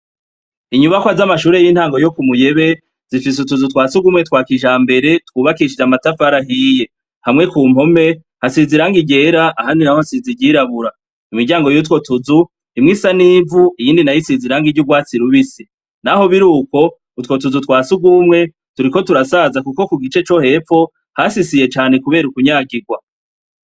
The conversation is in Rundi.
Inyubakwa z'amashure y'intango yo ku muyebe zifise utuzu twa siugumwe twa kisambere twubakishije amatafara ahiye hamwe ku mpome hasiziranga irera ahani, naho hasiziryirabura imiryango y'utwo tuzu himwe isa n'ivu iyindi nayoisiziranga iryo urwatsirubise, naho biri uko utwo tuzu twa si ugumwe turi ko turasaza, kuko gi ce co hepfo hasisiye cane, kubera ukunyagirwa.